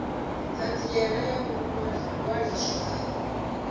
thanziela ya u ṅwaliswa ha